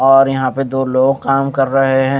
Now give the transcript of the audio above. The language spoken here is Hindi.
और यहां पे दो लोग काम कर रहे हैं।